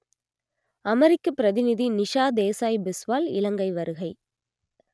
அமெரிக்கப் பிரதிநிதி நிஷா தேசாய் பிஸ்வால் இலங்கை வருகை